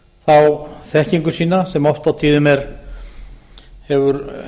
sér þá þekkingu sína sem oft á tíðum hefur